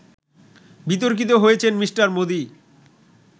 বিতর্কিত হয়েছেন মি: মোদি